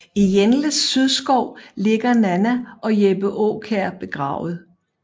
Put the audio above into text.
I Jenles sydskov ligger Nanna og Jeppe Aakjær begravet